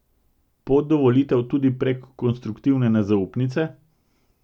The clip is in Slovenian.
Pot do volitev tudi prek konstruktivne nezaupnice?